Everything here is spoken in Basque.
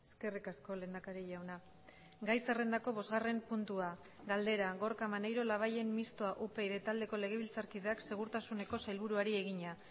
eskerrik asko lehendakari jauna gai zerrendako bosgarren puntua galdera gorka maneiro labayen mistoa upyd taldeko legebiltzarkideak segurtasuneko sailburuari egina